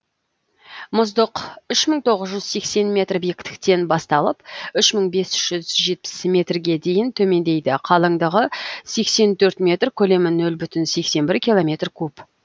мұздық үш мың тоғыз жүз сексен метр биіктіктен басталып үш мың бес жүз жетпіс метрге дейін төмендейді қалыңдығы сексен төрт метр көлемі нөл бүтін сексен бір километр куб